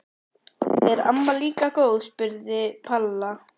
Er amma líka góð? spurði Palla.